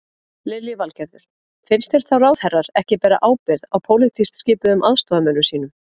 Lillý Valgerður: Finnst þér þá ráðherrar ekki bera ábyrgð á pólitískt skipuðum aðstoðarmönnum sínum?